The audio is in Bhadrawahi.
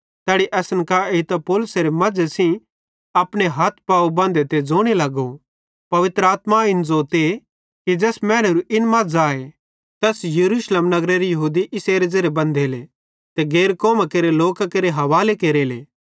तैनी असन कां एइतां पौलुसेरे मज़े सेइं अपने हथ पाव बंधे ते ज़ोने लगो पवित्र आत्मा इन ज़ोतीए कि ज़ैस मैनेरू इन मज़ आए तैस यरूशलेम नगरेरे यहूदी इसेरे ज़ेरे बंधेले ते गैर कौमां केरे लोकां केरे हवाले केरेले